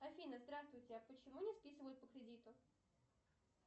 афина здравствуйте а почему не списывают по кредиту